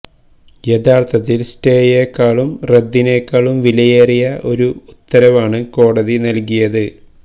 യഥാർത്ഥത്തിൽ സ്റ്റേയേ ക്കാളും റദ്ദിനേക്കാളും വിലയേറിയ ഒരു ഉത്തരവാണ് കോടതി നൽകിയത്